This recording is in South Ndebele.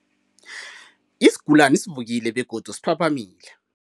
Isigulani sivukile begodu siphaphamile.